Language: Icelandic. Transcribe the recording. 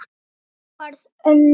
Raunin varð önnur.